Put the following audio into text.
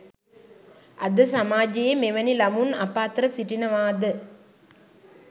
අද සමාජයේ මෙවැනි ළමුන් අප අතර සිටිනවාද